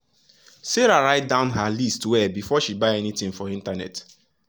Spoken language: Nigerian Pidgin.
sarah write down her list well before she buy anything for internet.